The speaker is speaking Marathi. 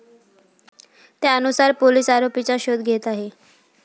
त्यानुसार पोलीस आरोपीचा शोध घेत आहे.